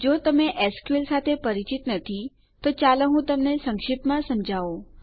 જો તમે એસક્યુએલ સાથે પરિચિત નથી તો ચાલો હું તમને સંક્ષિપ્તમાં સમજાવું